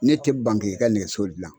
Ne ti ban k'i ka nɛgɛso gilan